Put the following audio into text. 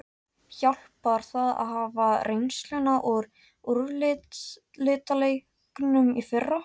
Hjálpar það að hafa reynsluna úr úrslitaleiknum í fyrra?